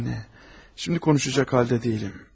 Anne, şimdi konuşacak halde deyilim.